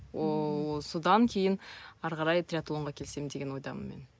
ооо содан кейін ары қарай триатлонға келсем деген ойдамын мен